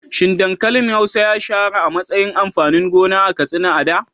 Shin dankalin hausa ya shahara a matsayin amfanin gona a Katsina a da?